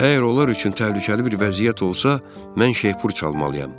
Əgər onlar üçün təhlükəli bir vəziyyət olsa, mən şeypur çalmalıyam.